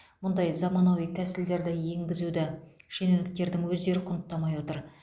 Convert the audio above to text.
мұндай заманауи тәсілдерді енгізуді шенеуніктердің өздері құнттамай отыр